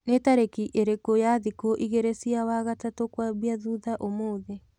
ni tarĩkĩ ĩrĩkũ ya thiku ĩgĩrĩ cĩa wagatatu kwambia thũtha ũmũthĩ